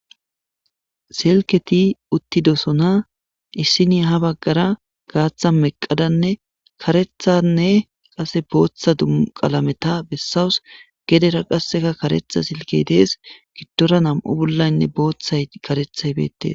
Silketti uttidossonna issinyya ha bagara gathan meqadanne karethane qasse booththa qallametha besawus gedera qasseka kartha silkke dees giddora nammu' bollayinne boththay karethay bethess.